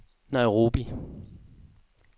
Nairobi